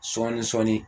Sɔɔni sɔɔni